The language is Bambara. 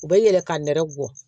U bɛ yɛlɛ ka nɛrɛ bɔ